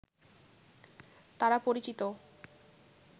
তারা পরিচিত